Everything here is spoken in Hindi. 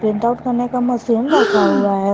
प्रिंट आउट करने का मशीन रखा हुआ है।